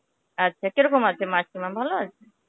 আচ্ছা, কিরকম আছে মাসিমা ভালো আছে?